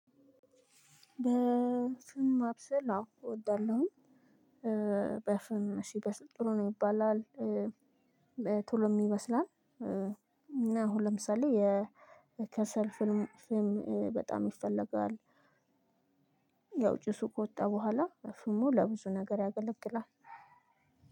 በፍም ማብሰል አዎ እወዳለሁ። በፍም ሲበስል ጥሩ ነው ይባላል። ቶሎም ይበስላል። አሁን ለምሳሌ የከሰል ፍም በጣም ይፈለጋል። ያው ጭሱ ከወጣ በኋላ ፍሙ ለብዙ ነገር ያገለግላል።